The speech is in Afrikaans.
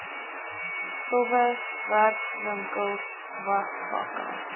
stowwe werkwinkels wasvakke